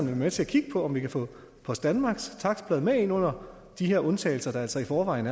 være med til at kigge på om vi kan få post danmarks takstblad med ind under de her undtagelser der altså i forvejen